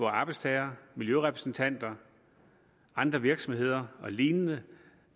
arbejdstagere miljørepræsentanter andre virksomheder og lignende